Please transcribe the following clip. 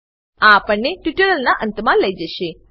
આ આપણને ટ્યુટોરીયલના અંતમા લઇ જશે